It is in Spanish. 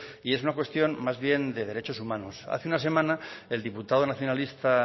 y es una cuestión más bien de derechos humanos hace una semana el diputado nacionalista